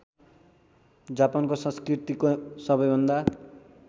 जापानको संस्कृतिको सबैभन्दा